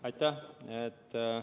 Aitäh!